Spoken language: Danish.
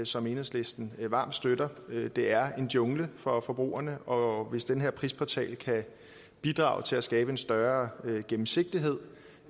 som enhedslisten varmt støtter det er en jungle for forbrugerne og hvis den her prisportal kan bidrage til at skabe en større gennemsigtighed